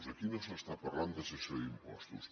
aquí no s’està parlant de cessió d’impostos